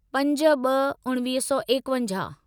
पंज ॿ उणिवीह सौ एकवंजाहु